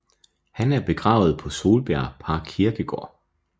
Han er begravet på Solbjerg Parkkirkegård